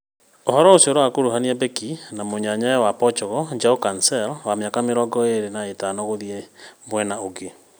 Ũhoro ũcio ũrakuruhania beki na mũnyanyawe wa Portugal Joao Cancelo, wa mĩaka mĩrongo ĩĩrĩ na ĩtano gũthiĩ mwena ũngĩ